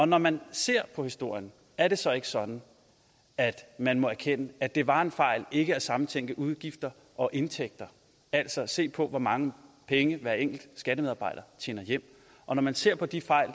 når man ser på historien er det så ikke sådan at man må erkende at det var en fejl ikke at sammentænke udgifter og indtægter altså se på hvor mange penge hver enkelt skattemedarbejder tjener hjem og når man ser på de fejl